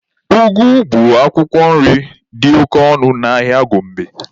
Ụgụ bụ akwụkwọ nri dị oke ọnụ n'ahịa Gombe.